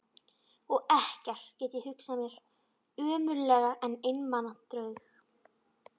Og ekkert get ég hugsað mér ömurlegra en einmana draug.